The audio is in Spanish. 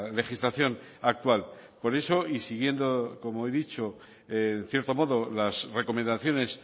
legislación actual por eso y siguiendo como he dicho en cierto modo las recomendaciones